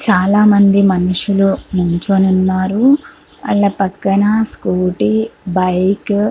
చాలా మంది మనుసులు నిల్చొని ఉన్నారు. ఆళ్ల పక్కన స్కూటీ బైక్ --